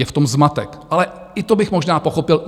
Je v tom zmatek, ale i to bych možná pochopil.